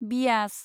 Beas